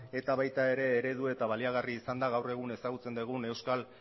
eta baita ere eredu eta baliagarria izan da gaur egun ezagutzen dugun euskal